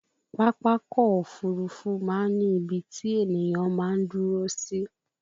Pápákọ̀ òfurufú máa ń ní ibi tí ènìyàn máa ń dúró sí